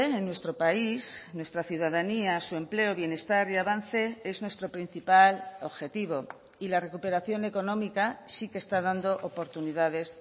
en nuestro país nuestra ciudadanía su empleo bienestar y avance es nuestro principal objetivo y la recuperación económica sí que está dando oportunidades